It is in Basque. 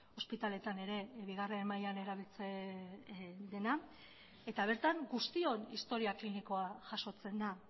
ospitaleetan ere bigarren mailan erabiltzen dena bertan guztion historia klinikoa jasotzen da